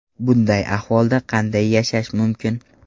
Bunday ahvolda qanday yashash mumkin?!